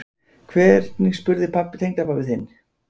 Hvernig spurði tengdapabbi þinn?